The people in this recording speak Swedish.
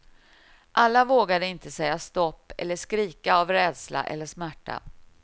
Alla vågade inte säga stopp eller skrika av rädsla eller smärta.